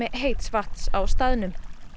heits vatns á staðnum